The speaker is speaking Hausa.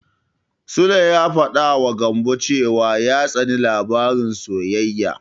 Sule ya faɗawa Gambo cewa ya tsani labaran soyayya.